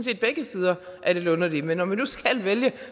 begge sider er lidt underlige men når vi nu skal vælge